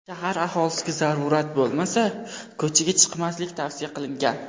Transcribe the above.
Shahar aholisiga zarurat bo‘lmasa, ko‘chaga chiqmaslik tavsiya qilingan.